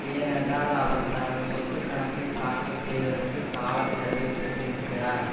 ஏனென்றால் அவர் தனது சொத்து கணக்கை தாக்கல் செய்வதற்கு கால கெடுவை பெற்றிருக்கிறார்